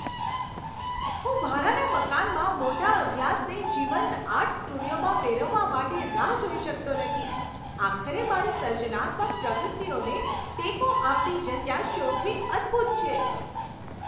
હું ભાડાના મકાનમાં મોટા અભ્યાસને જીવંત આર્ટ સ્ટુડિયોમાં ફેરવવા માટે રાહ જોઈ શકતો નથી. આખરે મારી સર્જનાત્મક પ્રવૃત્તિઓને ટેકો આપતી જગ્યા શોધવી અદ્ભુત છે.